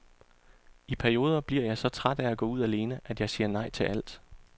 I perioder bliver jeg så træt af at gå ud alene, at jeg siger nej til alt.